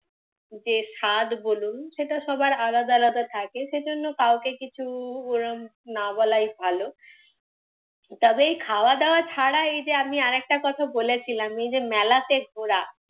যে স্বাদ বলুন সেটা সবার আলাদা আলাদা থাকে, সেজন্য কাউকে কিছু ওরম না বলাই ভালো। তবে এই খাওয়া দাওয়া ছাড়া এই যে আমি আরেকটা কথা বলেছিলাম এই যে মেলাতে ঘোরা,